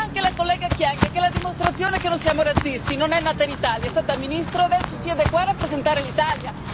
Parlerà anche la collega Kyenge, che è la dimostrazione che non siamo razzisti non è nata in Italia, è stata ministro e ora siede qua a rappresentare l'Italia.